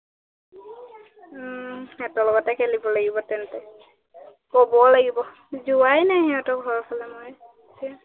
সিহঁতৰ লগতে খেলিব লাগিব তেন্তে, কবও লাগিব, যোৱাই নাই সিহঁতৰ ঘৰৰ ফালে মই